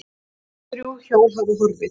Aðeins þrjú hjól hafa horfið